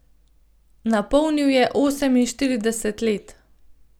Napolnil je oseminštirideset let.